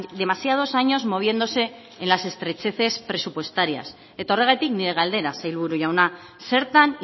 demasiados años moviéndose en las estrecheces presupuestarias eta horregatik nire galdera sailburu jauna zertan